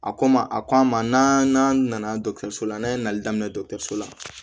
A ko ma a ko an ma n'an nana la n'a ye nali daminɛ dɔkɔtɔrɔso la